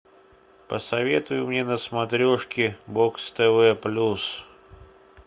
посоветуй мне на смотрешке бокс тв плюс